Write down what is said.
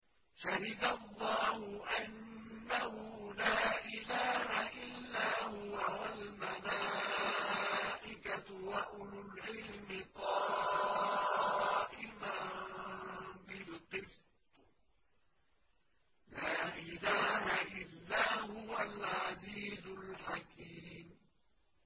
شَهِدَ اللَّهُ أَنَّهُ لَا إِلَٰهَ إِلَّا هُوَ وَالْمَلَائِكَةُ وَأُولُو الْعِلْمِ قَائِمًا بِالْقِسْطِ ۚ لَا إِلَٰهَ إِلَّا هُوَ الْعَزِيزُ الْحَكِيمُ